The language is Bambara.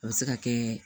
A bɛ se ka kɛ